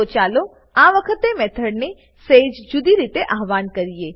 તો ચાલો આ વખતે મેથડને સેજ જુદી રીતે આવ્હાન કરીએ